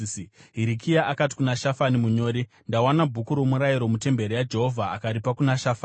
Hirikia akati kuna Shafani munyori, “Ndawana Bhuku roMurayiro mutemberi yaJehovha.” Akaripa kuna Shafani.